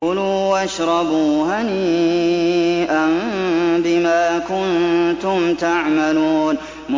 كُلُوا وَاشْرَبُوا هَنِيئًا بِمَا كُنتُمْ تَعْمَلُونَ